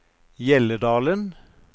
Hjelledalen